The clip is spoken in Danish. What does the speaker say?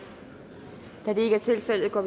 da det ikke er tilfældet går